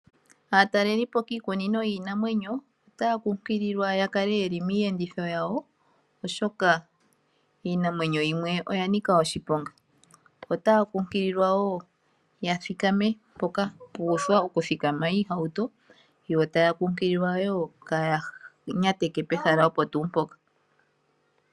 Aatalelipo kiikunino yiinamwenyo otaya kunkililwa ya kale yeli miiyenditho yawo, oshoka iinamwenyo yimwe oya nika oshiponga. Otaya kunkililwa wo, ya thikame mpoka mpwa uthwa okuthikama iihauto. Yo taya kunkililwa wo kaya nyateke pehala opo tuu mpoka.